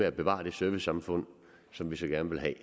at bevare det servicesamfund som vi så gerne vil have